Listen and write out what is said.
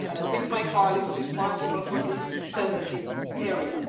with my colleagues responsible for this sensitive area.